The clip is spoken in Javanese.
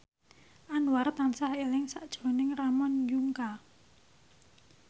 Anwar tansah eling sakjroning Ramon Yungka